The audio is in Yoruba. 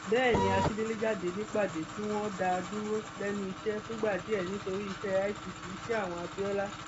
bẹẹ ni akíndélé jáde nípàdé tí wọn dá a dúró lẹnu iṣẹ fúngbà díẹ nítorí iṣẹ itt iṣẹ àwọn abiola